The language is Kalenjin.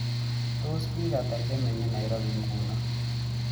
Tos' piik ata che menye nairobi eng' nguno